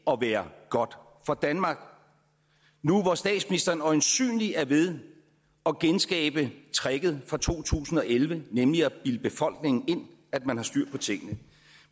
at være godt for danmark nu hvor statsministeren øjensynlig er ved at genskabe tricket fra to tusind og elleve nemlig at bilde befolkningen ind at man har styr på tingene